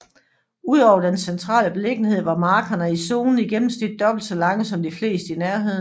Udover dens centrale beliggenhed var markerne i zonen i gennemsnit dobbelt så lange som de fleste i nærheden